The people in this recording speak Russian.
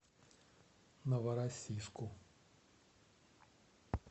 новороссийску